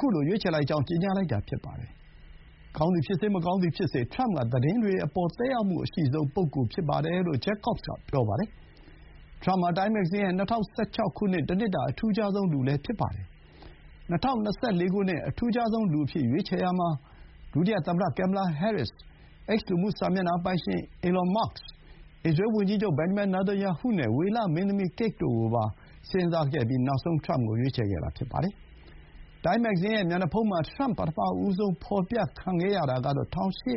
ခုလို ရွေးချယ်လိုက်ကြောင်း ကြေညာလိုက်တာ ဖြစ်ပါတယ်။ ကောင်းသည်ဖြစ်စေ၊ မကောင်းသည်ဖြစ်စေ ထရမ့်က သတင်းတွေအပေါ် သက်ရောက်မှုအရှိဆုံး ပုဂ္ဂိုလ်ဖြစ်တယ်လို့ Jacobs က ပြောပါတယ်။ ထရမ့် ဟာ တိုင်းမဂ္ဂဇင်းရဲ့ ၂၀၁၆ နှစ် တနှစ်တာ အထူးခြားဆုံးလူ လည်း ဖြစ်ပါတယ်။ ၂၀၂၄ ခုနှစ် အထူးခြားဆုံးလူအဖြစ် ရွေးချယ်ရာမှာ ဒုတိယသမ္မတ ကင်မ်မလာ ဟဲရစ်စ်၊ X လူမှု စာမျက်နှာပိုင်ရှင် အီလွန် မာ့က်စ်၊ အစ္စရေးဝန်ကြီးချုပ် ဘင်ဂျမင် နေသန်ယာဟုနဲ့ ဝေလ မင်းသမီး ကိတ် တို့ကိုပါ စဥ်းစားခဲ့ပြီး နောက်ဆုံး ထရမ့်ကို ရွေးချယ်ခဲ့တာ ဖြစ်ပါတယ်။ တိုင်းမ်း မဂ္ဂဇင်းရဲ့ မျက်နှာဖုံးမှာ ထရမ့် ပထမဆုံး ဖော်ပြခံရတာကတော့ ၁၉၈